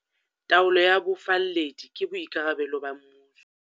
Taolo ya bofalledi ke boikarabelo ba mmuso.